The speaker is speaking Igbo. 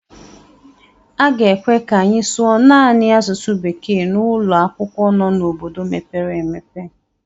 A ga-ekwe ka anyị sụọ naanị asụsụ bekee n'ụlọ akwụkwọ nọ n'obodo mepere emepe.